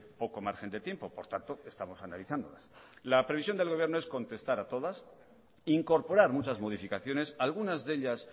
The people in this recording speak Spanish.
poco margen de tiempo por tanto estamos analizándolas la previsión del gobierno es contestar a todas incorporar muchas modificaciones algunas de ellas